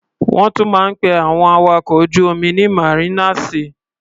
Wọ́n tún máa ń pe àwọn awakọ̀ ojú-omi ní màrínàsì.